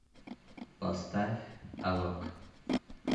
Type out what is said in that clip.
поставь алок